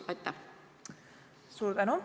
Suur tänu!